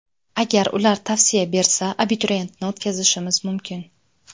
Agar ular tavsiya bersa, abituriyentni o‘tkazishimiz mumkin.